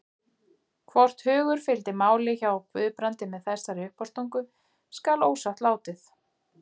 Hvort hugur fylgdi máli hjá Guðbrandi með þessari uppástungu skal ósagt látið.